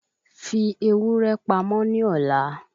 Fi ewúrẹ́ pamọ́ ní ọ̀la